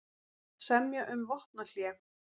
Semja um vopnahlé